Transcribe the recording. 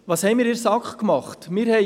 Was haben wir seitens der SAK unternommen?